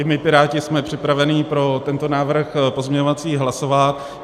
I my Piráti jsme připraveni pro tento návrh pozměňovací hlasovat.